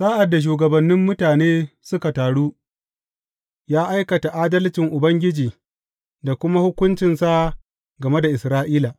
Sa’ad da shugabannin mutane suka taru, ya aikata adalcin Ubangiji da kuma hukuncinsa game da Isra’ila.